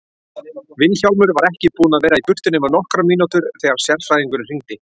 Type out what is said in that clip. Vilhjálmur var ekki búinn að vera í burtu nema nokkrar mínútur þegar sérfræðingurinn hringdi.